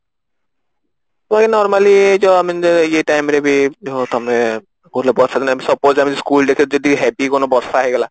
ମୁଁ ଏ normally ଇଏ time ରେ ବି ବର୍ଷା ଦିନେ ଏମତି suppose ଆମେ school heavy ବର୍ଷା ହେଇଗଲା